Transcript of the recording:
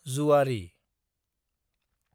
जुवारि